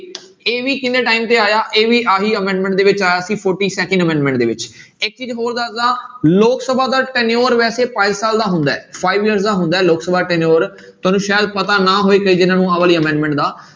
ਇਹ ਵੀ ਕਿੰਨੇ time ਤੇ ਆਇਆ ਇਹ ਵੀ ਆਹੀ amendment ਦੇ ਵਿੱਚ ਆਇਆ ਸੀ forty second amendment ਦੇ ਵਿੱਚ ਇੱਕ ਚੀਜ਼ ਹੋਰ ਦੱਸਦਾਂ ਲੋਕ ਸਭਾ ਦਾ tenure ਵੈਸੇ ਪੰਜ ਸਾਲ ਦਾ ਹੁੰਦਾ ਹੈ five years ਦਾ ਹੁੰਦਾ ਹੈ ਲੋਕ ਸਭਾ tenure ਤੁਹਾਨੂੰ ਸ਼ਾਇਦ ਪਤਾ ਨਾ ਹੋਵੇ ਕਈ ਜਾਣਿਆਂ ਨੂੰ ਆਹ ਵਾਲੀ amendment ਦਾ